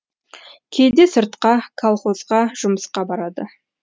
кейде сыртқа колхозға жұмысқа барады